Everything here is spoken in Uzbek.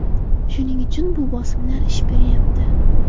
Shuning uchun bu bosimlar ish beryapti.